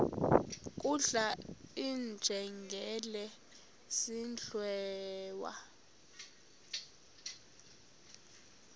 kudlala iinjengele zidliwa